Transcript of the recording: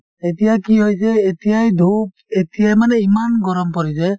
এতিয়া কি হৈছে এতিয়াই foriegn:langhindiforiegn:lang এতিয়াই মানে ইমান গৰম পৰিছে।